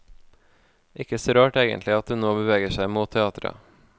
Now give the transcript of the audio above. Ikke så rart egentlig at hun nå beveger seg mot teatret.